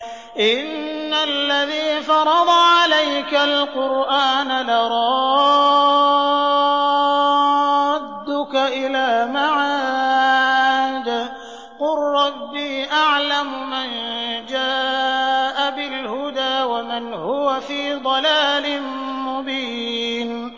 إِنَّ الَّذِي فَرَضَ عَلَيْكَ الْقُرْآنَ لَرَادُّكَ إِلَىٰ مَعَادٍ ۚ قُل رَّبِّي أَعْلَمُ مَن جَاءَ بِالْهُدَىٰ وَمَنْ هُوَ فِي ضَلَالٍ مُّبِينٍ